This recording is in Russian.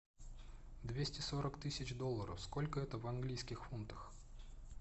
двести сорок тысяч долларов сколько это в английских фунтах